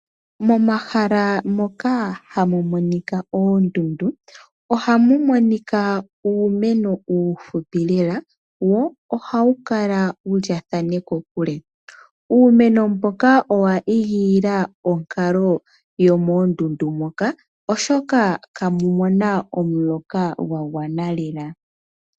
Momahala moka hamu monika oondundu ohamu monika uumeno uufupi lela wo ohawu kala wulyaathane kokule. Uumeno mboka owa igilila onkalo yomoondundu moka oshoka kamu na omuloka gwa gwana lela.